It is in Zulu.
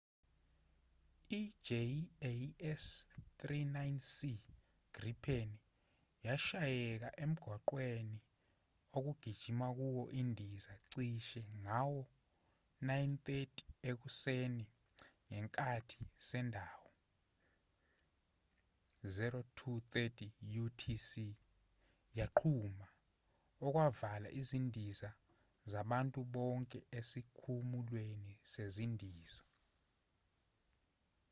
i-jas 39c gripen yashayeka emgwaqweni okugijima kuwo indiza cishe ngawo- 9: 30 ekuseni ngekhathi sendawo 0230 utc yaqhuma okwavala izindiza zabantu bonke esikhumulweni sezindiza